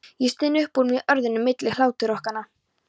Ég styn upp úr mér orðunum milli hláturrokanna.